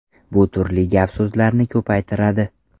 Bu turli gap-so‘zlarni ko‘paytiradi.